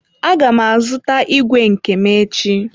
Aga m azụta ígwè nke m echi.